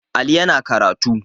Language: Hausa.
Ali yana karatu